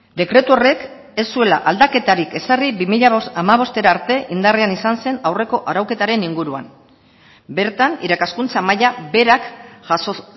dekretu horrek ez zuela aldaketarik ezarri bi mila hamabostera arte indarrean izan zen aurreko arauketaren inguruan bertan irakaskuntza maila berak jaso